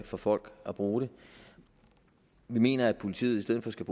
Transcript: for folk at bruge det vi mener at politiet i stedet skal